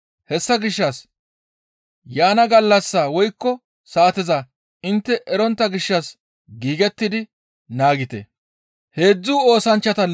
Hessa gishshas yaana gallassaa woykko saateza intte erontta gishshas giigettidi naagite.